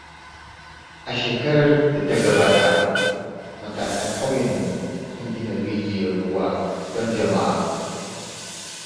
A shekarar da ta gabata, matasan ƙauyenmu sun gina rijiyar ruwa don jama’a.